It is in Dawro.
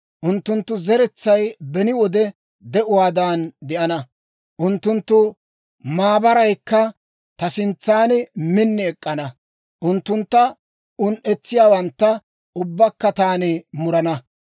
Unttunttu zeretsay beni wode de'uwaadan de'ana; unttunttu maabaraykka ta sintsan min ek'k'ana. Unttuntta un"etsiyaawantta ubbaakka taani murana.